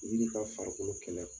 Wuli ka farikolo kɛlɛ wa.